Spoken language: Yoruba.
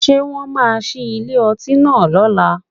Ṣé wọ́n máa ṣí ilé ọtí náà lọ́la?